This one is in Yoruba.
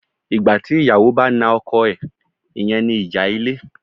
Ìgbà tí ìyàwó bá na ọkọ̀ ẹ̀, ìyẹn ni ìjà ilé.